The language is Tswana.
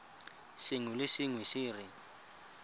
sengwe le sengwe se re